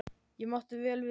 Ég mátti vel við því.